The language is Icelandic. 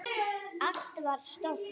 Allt var stórt.